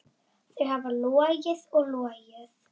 Þau hafa logið og logið.